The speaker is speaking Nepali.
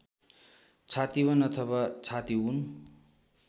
छतिवन अथवा छतिउन